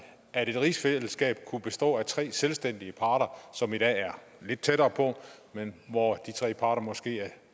at et rigsfællesskab kunne bestå af tre selvstændige parter som i dag er lidt tættere på men hvor de tre parter måske er